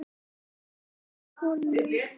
Ryðgaður á fyrstu holunum